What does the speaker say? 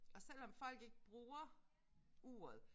Og selvom folk ikke bruger uret